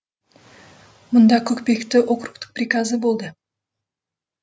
мұнда көкпекті округтік приказы болды